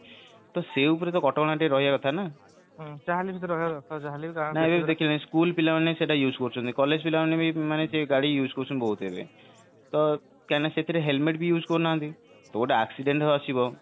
ତ ସେଇ ଉପରେ ଟିକେ କଟକଣା ରହିବା କଥା ନା school ପିଲାମାନେ ସେଟାକୁ use କରୁଛନ୍ତି collage ପିଲାମାନେ ବି ସେ ଗାଡି use କରୁଛନ୍ତି ବହୁତ କାହିଁକି ନା ସେଥିରେ helmet ବି use କରୁ ନାହାନ୍ତି ତ ଗୋଟେ accident ଆସିବ